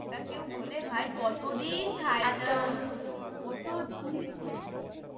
ওটা কেউ ভোলে ভাই কতদিন খাইনা কতদিন খাইনা